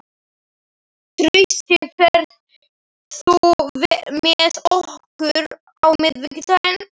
Trausti, ferð þú með okkur á miðvikudaginn?